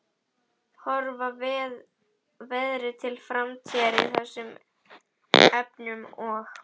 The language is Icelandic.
Horfa verði til framtíðar í þessum efnum og?